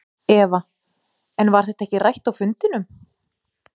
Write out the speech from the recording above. Eva: En var það ekki rætt á fundinum?